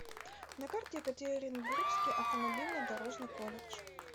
на карте екатеринбургский автомобильно дорожный колледж